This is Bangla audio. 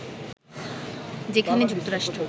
যেখানে যুক্তরাষ্ট্র